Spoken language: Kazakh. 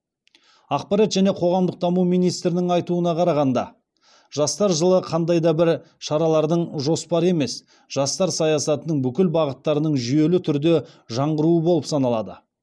ақпарат және қоғамдық даму министрінің айтуына қарағанда жастар жылы қандай да бір шаралардың жоспары емес жастар саясатының бүкіл бағыттарының жүйелі түрде жаңғыруы болып саналады